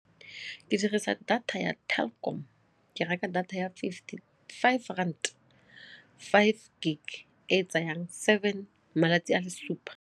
Ke dirisa data ya Telkom, ke reka data ya fifty-five ranta, five gig e e tsayang seven malatsi a le supa.